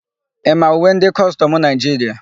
Ị ma uwe ndị kọstọmụ Naịjiria?